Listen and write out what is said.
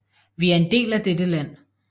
Vi er en del af dette land